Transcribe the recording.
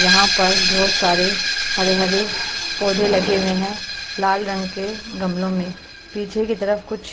यहां पर बहुत सारे हरे हरे पौधे लगे हुए हैं लाल रंग के गमलों में पीछे की तरफ कुछ --